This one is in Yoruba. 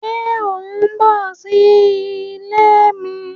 Ṣe o n bọ si ile mi?